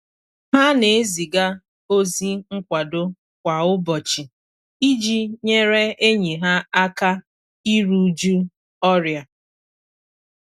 Ha na eziga ozi nkwado kwa ụbọchị iji nyere enyi ha aka iru uju ọrịa.